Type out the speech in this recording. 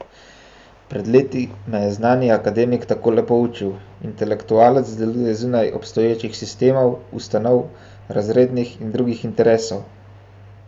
Pred leti me je znani akademik takole poučil: "Intelektualec deluje zunaj obstoječih sistemov, ustanov, razrednih in drugih interesov.